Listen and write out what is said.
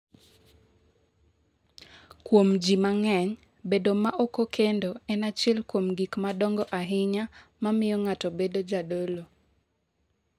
Kuom ji mang’eny, bedo ma ok okendo en achiel kuom gik madongo ahinya ma miyo ng’ato bedo jadolo.